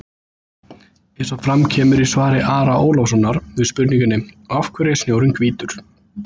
Eins og fram kemur í svari Ara Ólafssonar við spurningunni Af hverju er snjórinn hvítur?